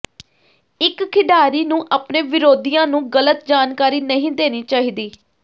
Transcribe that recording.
ਇੱਕ ਖਿਡਾਰੀ ਨੂੰ ਆਪਣੇ ਵਿਰੋਧੀਆਂ ਨੂੰ ਗਲਤ ਜਾਣਕਾਰੀ ਨਹੀਂ ਦੇਣੀ ਚਾਹੀਦੀ